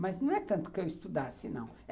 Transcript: Mas não é tanto que eu estudasse, não.